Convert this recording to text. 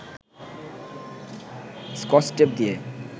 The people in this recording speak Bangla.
স্কচটেপ দিয়ে